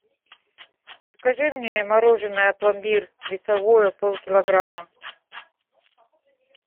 закажи мне мороженое пломбир весовое полкилограмма